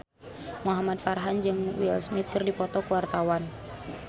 Muhamad Farhan jeung Will Smith keur dipoto ku wartawan